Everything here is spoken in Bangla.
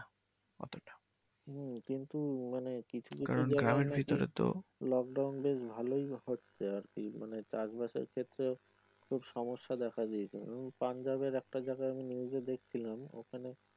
হুম কিন্তু মানে কিছু কিছু জায়গায় নাকি লোকডাউন বেশ ভালোই হচ্ছে আর কি মানে চাষ বাসে ক্ষেত্রে খুব সমস্যা দেখা দিয়েছে পাঞ্জাবের একটা জায়গায় নিউজে দেখছিলাম